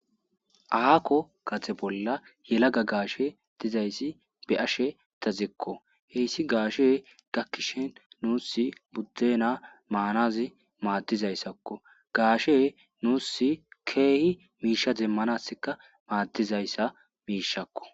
Aakko gade bolla yelaga gaashe dizayssi be ashe tazikko heyssi gaashe gakkishin nuus buddena maanazi maaddizayssakko gaashe nuus keehi miisha zemmanassika maaddizayssa miishakko.